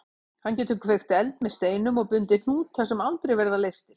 Hann getur kveikt eld með steinum og bundið hnúta sem aldrei verða leystir.